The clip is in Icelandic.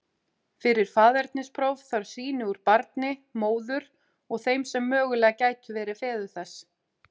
Fyrir faðernispróf þarf sýni úr barni, móður og þeim sem mögulega gætu verið feður þess.